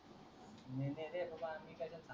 नय नय रे बाबा मी कशाला सांगू